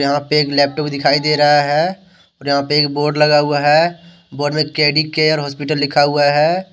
यहां पे एक लैपटॉप दिखाई दे रहा है और यहां पे एक बोर्ड लगा हुआ है बोर्ड में के_डी केयर हॉस्पिटल लिखा हुआ है।